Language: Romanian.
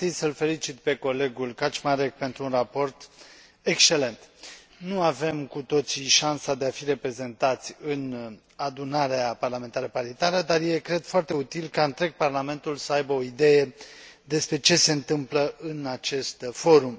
Aș vrea mai întâi să îl felicit pe colegul Kaczmarek pentru un raport excelent. Nu avem cu toții șansa de a fi reprezentați în Adunarea Parlamentară Paritară, dar este, cred, foarte util ca întregul Parlament să aibă o idee despre ce se întâmplă în acest forum.